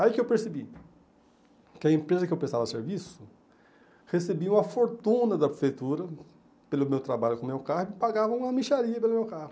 Aí que eu percebi que a empresa que eu prestava serviço recebia uma fortuna da prefeitura pelo meu trabalho com o meu carro e pagava uma mixaria pelo meu carro.